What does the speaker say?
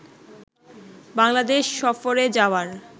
বাংলাদেশ সফরে যাওয়ার